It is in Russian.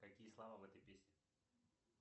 какие слова в этой песне